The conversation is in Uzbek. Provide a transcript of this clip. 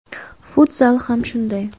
Futzal ham shunday.